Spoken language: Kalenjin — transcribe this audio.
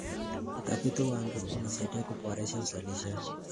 Utafiti wa mbegu unasaidia kuboresha uzalishaji.